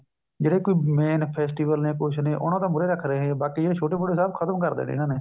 ਜਿਹੜੇ ਕੀ main festival ਨੇ ਕੁੱਝ ਨੇ ਉਹਨਾ ਨੂੰ ਤਾਂ ਮੂਰੇ ਰੱਖ ਹੈ ਬਾਕੀ ਜਿਹੜੇ ਛੋਟੇ ਮੋਟੇ ਸਭ ਖ਼ਤਮ ਕਰ ਦੇਣੇ ਹੈ ਇਹਨਾ ਨੇ